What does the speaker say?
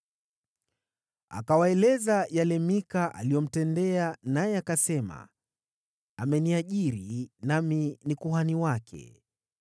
Akawaeleza yale Mika aliyomtendea, naye akasema, “Ameniajiri nami ni kuhani wake.”